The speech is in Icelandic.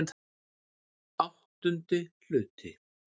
VIII Hluti